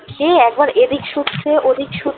সে একবার এদিক শুচ্ছে ওদিক শুচ্ছে